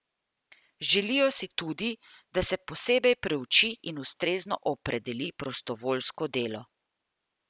Želijo si tudi, da se posebej preuči in ustrezno opredeli prostovoljsko delo.